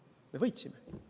Me võitsime!